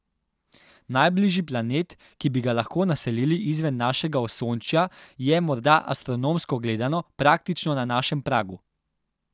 Najbližji planet, ki bi ga lahko naselili izven našega Osončja, je morda, astronomsko gledano, praktično na našem pragu.